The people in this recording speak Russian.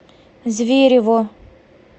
зверево